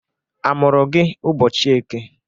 Amụrụ gị ụbọchị Eke?